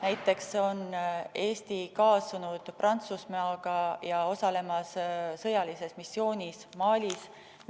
Näiteks on Eesti koos Prantsusmaaga osalemas sõjalises missioonis Malis.